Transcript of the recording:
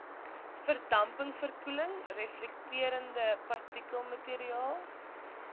verdampingsverkoeling reflekterende partikelmateriaal